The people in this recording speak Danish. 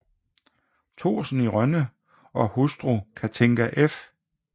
Thorsen i Rønne og hustru Cathinka f